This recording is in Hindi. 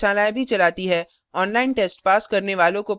online test pass करने वालों को प्रमाणपत्र भी देते हैं